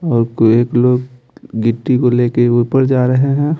और कोई एक लोग गिट्टी को लेकर ऊपर जा रहे हैं।